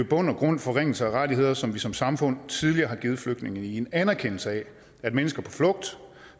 bund og grund en forringelse af rettigheder som vi som samfund tidligere har givet flygtningene i en anerkendelse af at mennesker på flugt